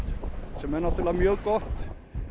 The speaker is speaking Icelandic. sem er náttúrulega mjög gott